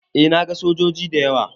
Eh na gan sojoji da yawa.